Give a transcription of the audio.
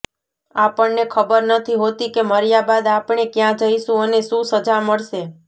આપણને ખબર નથી હોતી કે મર્યા બાદ આપણે ક્યા જઈશું અને શું સજા મળશે